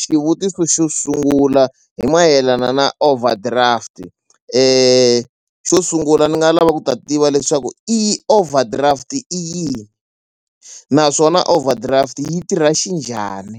Xivutiso xo sungula hi mayelana na overdraft xo sungula ni nga lava ku ta tiva leswaku i overdraft i yini naswona overdraft yi tirha xinjhani